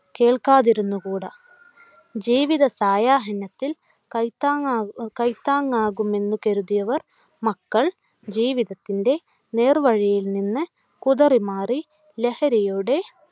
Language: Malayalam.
കേൾക്കാതിരുന്നുകൂടാ. ജീവിത സായാഹ്‌നത്തിൽ കൈത്താങ്ങാകു കൈത്താങ്ങാകുമെന്നു കരുതിയവർ മക്കൾ ജീവിതത്തിൻ്റെ നേർവഴിയിൽ നിന്ന് കുതറിമാറി ലഹരിയുടെ